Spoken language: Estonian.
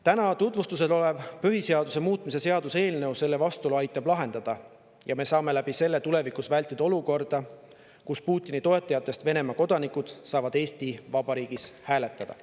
Täna tutvustamisel olev põhiseaduse muutmise seaduse eelnõu aitab selle vastuolu lahendada ja me saame tulevikus vältida olukorda, kus Putini toetajatest Venemaa kodanikud saavad Eesti Vabariigis hääletada.